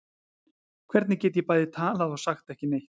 Hvernig get ég bæði talað og sagt ekki neitt?